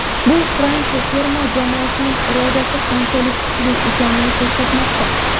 bu Fransiya terma jamoasining irodasi qanchalik kuchli ekanini ko‘rsatmoqda.